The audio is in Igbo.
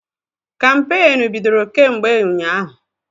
Kampeenụ́ bido kemgbe ụnyaahụ.